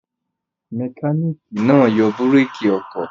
Mẹkáníkì náà yọ búrékì ọkọ̀.